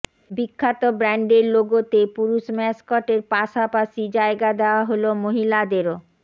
বিখ্যাত ব্র্যান্ডের লোগোতে পুরুষ ম্যাসকটের পাশাপাশি জায়গা দেওয়া হল মহিলাদেরও